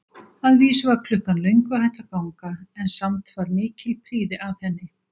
Að vísu var klukkan löngu hætt að ganga, en samt var mikil prýði að henni.